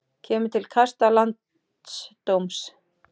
Kemur til kasta landsdóms